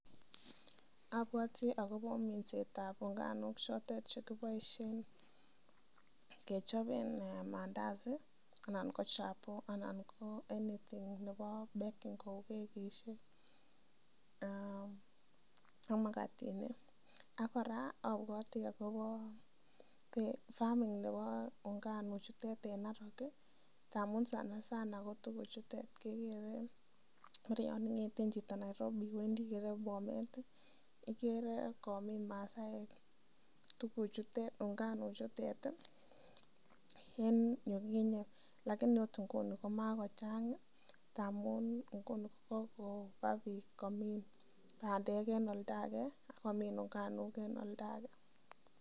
Abwoti agobo minset ab unganuk choton chekiboisie kechopen maandazi anan ko chapo en hoteli nebo baking kou kekishek ak magatinik ak kora abwoti agobo farming nebo nganuk chutet en Narok ngamun sanasana ko tuguuk chutet kegeere en yon ing'eten chito Nairobi iwendi Bomet igere komin Masaaek tuguchutet, nganuk chutet en yukinye. Lakini ot nguni komakochang ngamun nguni ko kogoba biik komin bandek en oldo age ak komin nganuk en olldo age.